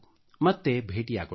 ಮತ್ತೆ ಸಿಗೋಣ